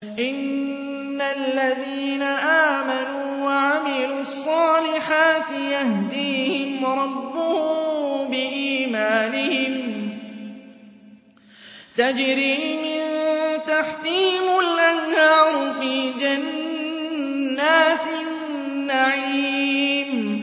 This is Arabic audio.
إِنَّ الَّذِينَ آمَنُوا وَعَمِلُوا الصَّالِحَاتِ يَهْدِيهِمْ رَبُّهُم بِإِيمَانِهِمْ ۖ تَجْرِي مِن تَحْتِهِمُ الْأَنْهَارُ فِي جَنَّاتِ النَّعِيمِ